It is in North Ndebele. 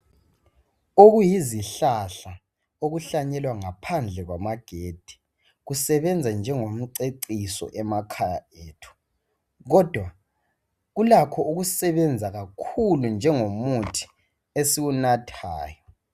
Okuyizihlahla okuhlanyelwa ngaphandle kwamagedi kusebenza njengomceciso emakhaya ethu kodwa kulakho ukusebenza kakhulu njengomuthi esiwunathayo.